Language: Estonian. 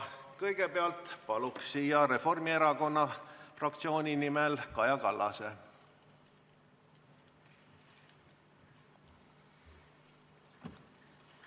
Kõigepealt palun siia Reformierakonna fraktsiooni nimel Kaja Kallase!